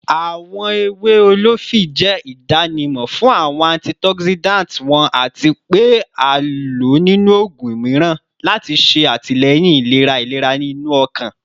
Awọn ewe olifi jẹ idanimọ fun awọn antioxidants wọn ati pe a lo ninu oogun miiran lati ṣe atilẹyin ilera ilera inu ọkan